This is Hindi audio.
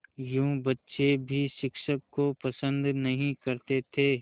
यूँ बच्चे भी शिक्षक को पसंद नहीं करते थे